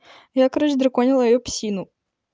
я короче драконила её псину